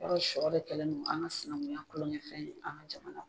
Yarɔ sɔ de kɛlen no an ka sinanguya kulonkɛ fɛn ye an ka jamana